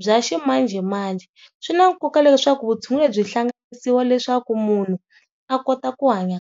bya ximanjhemanjhe swi na nkoka leswaku vutshunguri lebyi hlanganisiwa leswaku munhu a kota ku hanya.